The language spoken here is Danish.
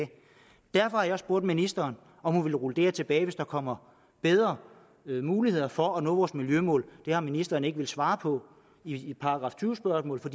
derfor har jeg også spurgt ministeren om hun vil rulle det her tilbage hvis der kommer bedre muligheder for at nå vores miljømål det har ministeren ikke villet svare på i et § tyve spørgsmål for